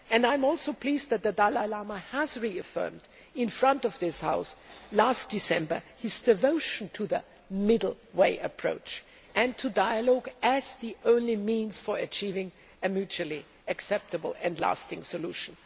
I am also pleased that the Dalai reaffirmed before this House last December his devotion to the middle way approach and to dialogue as the only means for achieving a mutually acceptable and lasting solution.